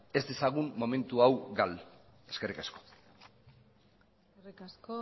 ez dezagun momentu hau galdu eskerrik asko eskerrik asko